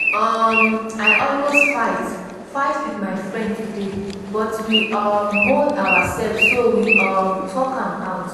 um i almost fight fight with my friend today but we um hold ourselves so we um talk am out